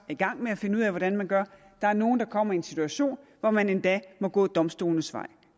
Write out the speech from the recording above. i gang med at finde ud af hvordan man gør der er nogle der kommer i en situation hvor man endda må gå domstolenes vej